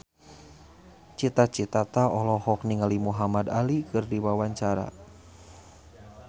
Cita Citata olohok ningali Muhamad Ali keur diwawancara